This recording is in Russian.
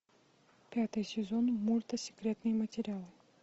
пятый сезон мульта секретные материалы